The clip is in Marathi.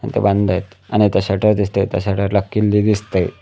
ते बंद आहेत आणि इथे शटर दिसतंय त्या शटर ला किल्ली दिसतंय.